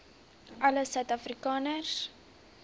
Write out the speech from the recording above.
alle suid afrikaners